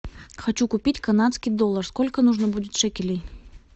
хочу купить канадский доллар сколько нужно будет шекелей